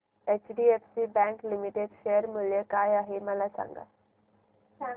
HDFC bank limited share मूल्य काय आहे मला सांगा